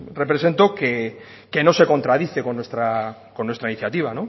represento que no se contradice con nuestra iniciativa